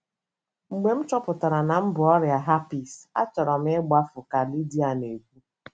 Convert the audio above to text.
Mgbe m chọpụtara na m bu ọrịa herpes, achọrọ m ịgbafu, ” ka Lydia na - ekwu.